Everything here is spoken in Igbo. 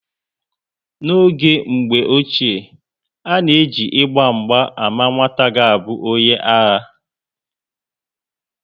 N'oge mgbe ochie, a na eji Ịgba mgba ámá nwata ga abụ onye agha